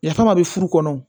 Yafama bɛ furu kɔnɔ